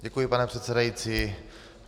Děkuji, pane předsedající.